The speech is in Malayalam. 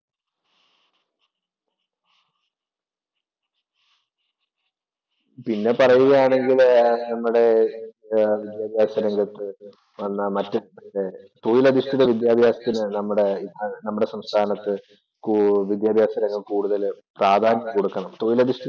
പിന്നെ പറയുകയാണെങ്കില് നമ്മുടെ വിദ്യാഭ്യാസ രംഗത്ത് വന്ന മറ്റു തൊഴിലധിഷ്ഠിത വിദ്യാഭ്യാസത്തിന് നമ്മള് നമ്മടെ സംസ്ഥാനത്ത് വിദ്യാഭ്യാസ രംഗം കൂടുതല് പ്രാധാന്യം കൊടുക്കണം. തൊഴിലധിഷ്ഠി